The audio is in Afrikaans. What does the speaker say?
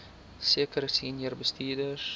sekere senior bestuurders